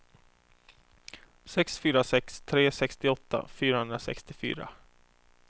sex fyra sex tre sextioåtta fyrahundrasextiofyra